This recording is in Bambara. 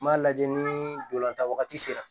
N b'a lajɛ ni dolantan wagati sera